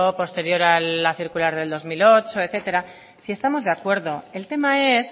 posterior de la circular de dos mil ocho etcétera si estamos de acuerdo el tema es